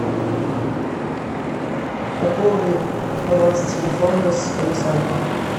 пополни баланс телефона александру